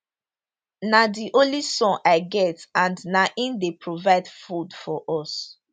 na di only son i get and na im dey provide food for us